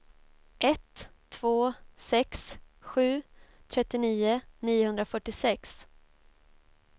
ett två sex sju trettionio niohundrafyrtiosex